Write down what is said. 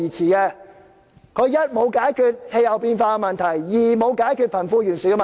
第一、這個方向沒有解決氣候變化問題；第二、沒有解決貧富懸殊問題。